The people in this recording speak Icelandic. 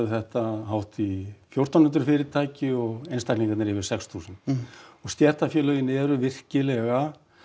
þetta hátt í fjórtán hundruð fyrirtæki og einstaklingarnir yfir sex þúsund og stéttarfélögin eru virkilega